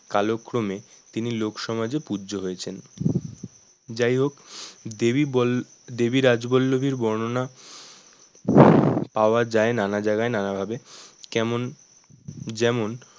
কাল ক্রমে তিনি লোক সমাজে পূজ্য হয়েছেন যাইহোক দেবী বল দেবী রাজবল্লভীর বর্ণনা পাওয়া যায় নানা জায়গায় নানা ভাবে কেমন যেমন